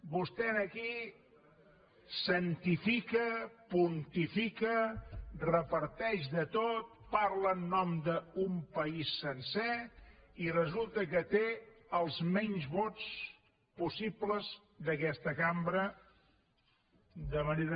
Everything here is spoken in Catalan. vostè aquí santifica pontifica reparteix de tot parla en nom d’un país sencer i resulta que té els menys vots possibles d’aquesta cambra de manera